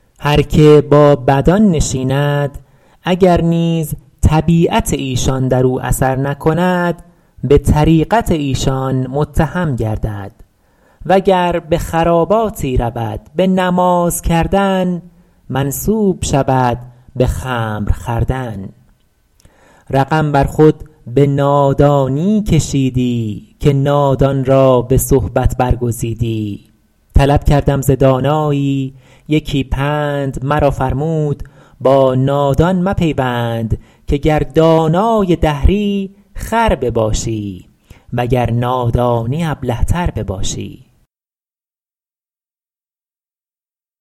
هر که با بدان نشیند اگر نیز طبیعت ایشان در او اثر نکند به طریقت ایشان متهم گردد و گر به خراباتی رود به نماز کردن منسوب شود به خمر خوردن رقم بر خود به نادانی کشیدی که نادان را به صحبت برگزیدی طلب کردم ز دانایی یکی پند مرا فرمود با نادان مپیوند که گر دانای دهری خر بباشی وگر نادانی ابله تر بباشی